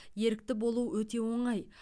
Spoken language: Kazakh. ерікті болу өте оңай